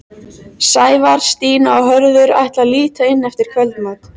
Sævar, Stína og Hörður ætla að líta inn eftir kvöldmat.